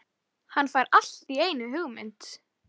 Örn getur séð um að svæfa ykkur.